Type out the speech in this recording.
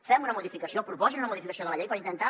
fem una modificació proposin una modificació de la llei per intentar